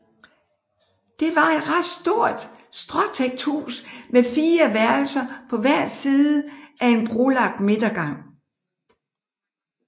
Det var et ret stort stråtækt hus med 4 værelser på hver side af en brolagt midtergang